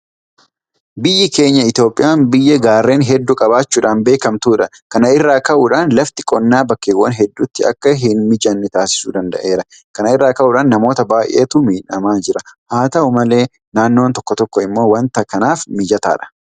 Biyyi keenya Itoophiyaan biyya gaarreen hedduu qabaachuudhaan beekamtudha. Kana irraa ka'uudhaan lafti qonnaa bakkeewwan hedduutti akka hinmijanne taasisuu danda'eera. Kana irraa ka'uudhaan namoota baay'eetu miidhamaa jira. Haata'u malee naannoon tokko tokko immoo waanta kanaaf mijataadha.